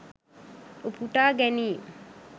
උපුටා ගැනීම්